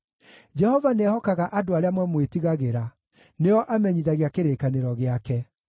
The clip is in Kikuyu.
Jehova nĩehokaga andũ arĩa mamwĩtigagĩra; nĩo amenyithagia kĩrĩkanĩro gĩake.